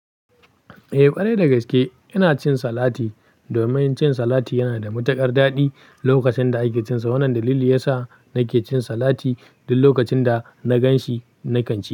Eh ƙwarai da gaske ina cin salati domin cin salati yana da matuƙar daɗi lokacin da ake cinsa. Wannan dalili ya sa nake cin salati duk lokacin da na gan shi, nakan ci.